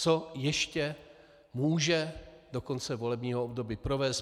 Co ještě může do konce volebního období provést?